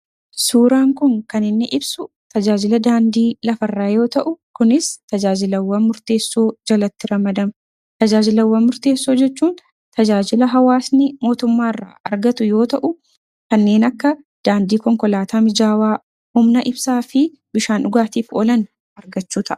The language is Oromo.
suuraan kun kan inni ibsu tajaajila daandii lafarraa yoo ta'u kunis tajaajilawwan murteessoo jalatti ramadama. Tajaajilawwa murteessoo jechuun tajaajila hawaasni mootummaairra argatu yoo ta'u kanneen akka daandii konkolaataa mijaawaa umna ibsaa fi bishaan dhugaatiif oolan argachuu ta'a.